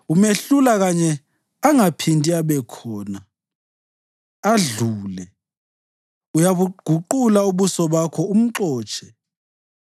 Umehlula kanye angaphindi abekhona, adlule; uyabuguqula ubuso bakho umxotshe.